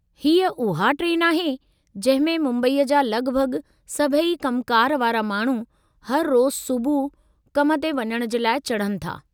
हीअ उहा ट्रेन आहे जंहिं में मुंबई जा लगि॒भगि॒ सभई कमुकारि वारा माण्हू हर रोज़ु सुबुह कम ते वञणु जे लाइ चढ़नि था।